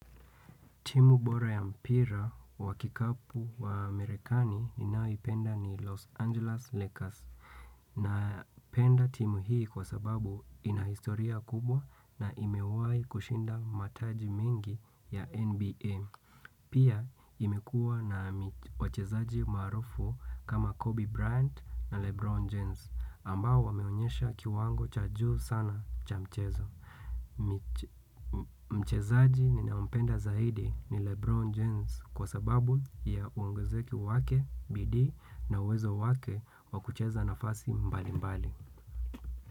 Timu bora ya mpira wa kikapu wa Amerikani ninaoipenda ni Los Angeles Lakers. Napenda timu hii kwa sababu ina historia kubwa na imewai kushinda mataji mingi ya NBM. Pia imekua na wachezaaji maarufu kama Kobe Bryant na Lebron Jens ambao wameonyesha kiwango cha juu sana cha mchezo. Mchezaji ninampenda zaidi ni Lebron James kwa sababu ya uongezeka wake, bidii na uwezo wake wa kucheza nafasi mbali mbali.